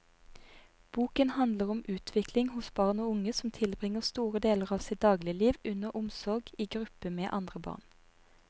Boken handler om utvikling hos barn og unge som tilbringer store deler av sitt dagligliv under omsorg i gruppe med andre barn.